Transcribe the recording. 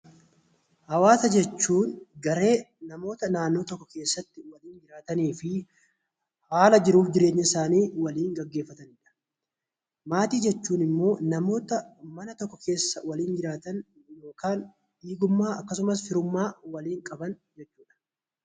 Hawwaasa jechuun garee namootaa naannoo tokko jiraatan fi haala jiruuf jireenya isaanii waliin gaggeeffatanidha. Maatii jechuun immoo namoota mana tokko keessa waliin jiraatan yookaan dhiigummaa akkasumas firummaa kan waliin qaban jechuudha.